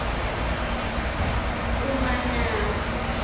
umanase